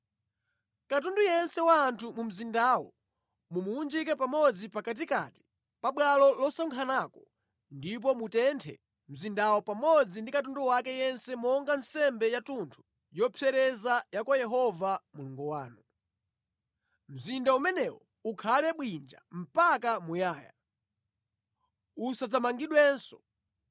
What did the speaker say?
Katundu yense wa anthu mu mzindawo mumuwunjike pamodzi pakatikati pa bwalo losonkhanako ndipo mutenthe mzindawo pamodzi ndi katundu wake yense monga nsembe yathunthu yopsereza ya kwa Yehova Mulungu wanu. Mzinda umenewo ukhale bwinja mpaka muyaya, usadzamangidwenso.